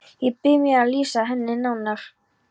Ég bíð með að lýsa henni nánar.